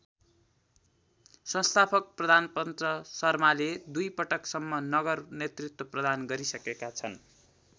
संस्थापक प्रधानपञ्च शर्माले दुई पटकसम्म नगर नेतृत्व प्रदान गरिसकेका छन्।